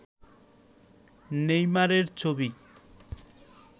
নেইমারের ছবি